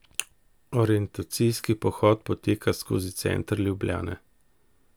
Orientacijski pohod poteka skozi center Ljubljane.